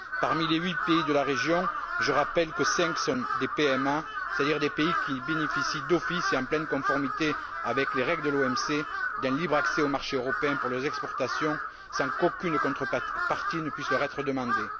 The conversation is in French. Parmi les huit pays de la région, je rappelle que cinq sont des PMA, c'est à dire des pays qui bénéficient d'office et en pleine conformité avec les règles de l'OMC, d'un libre accès au marché européen pour les exportations sans qu'aucune contrepartie ne puisse leur être demandée.